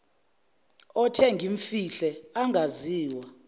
othe ngimfihle angaziwa